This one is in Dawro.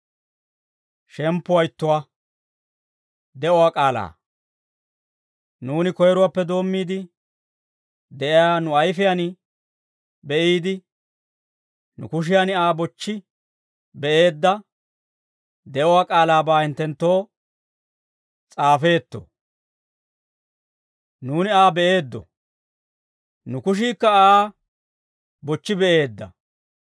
Nuuni koyiruwaappe doommiide de'iyaa, nu ayifiyaan be'iide, nu kushiyan Aa bochchi be'eedda de'uwaa k'aalaabaa hinttenttoo s'aafeetto. Nuuni Aa be'eeddo; nu kushiikka Aa bochchi be'eedda.